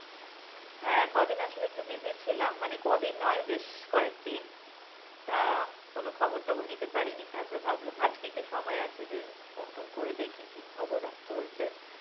হ্যা কদিন আসলে খুব busy ছিলাম, মানে কদিন না বেশ কয়েকদিন, তা কোনো খবর টবর নিতে পারিনি তারপর ভাবলাম আজকে একটু সময় আছে যে phone টোন করে দেখি যে কি চলছে.